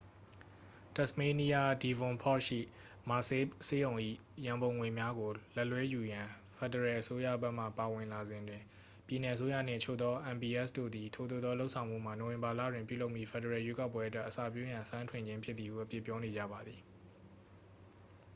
တက်စ်မေးနီးယား devonport ရှိ mersey ဆေးရုံ၏ရန်ပုံငွေများကိုလက်လွှဲယူရန် ဖက်ဒရယ်အစိုးရဘက်မှ ဝင်ပါလာစဉ်တွင် ပြည်နယ်အစိုးရနှင့် အချို့သော mps တို့သည် ထိုသို့သောလုပ်ဆောင်မှုမှာ နိုဝင်ဘာလတွင်ပြုလုပ်မည့် ဖက်ဒရယ်ရွေးကောက်ပွဲအတွက် အစပျိုးရန် အစမ်းထွင်ခြင်းဖြစ်သည်ဟု အပြစ်ပြောနေကြပါသည်